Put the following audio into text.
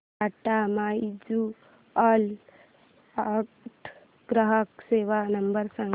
Tata mutual fund ग्राहक सेवा number सांगा